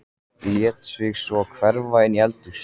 Lét sig svo hverfa inn í eldhús.